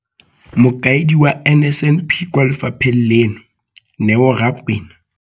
Mokaedi wa NSNP kwa lefapheng leno, Neo Rakwena.